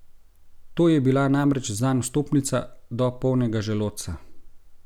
To je bila namreč zanj vstopnica do polnega želodca.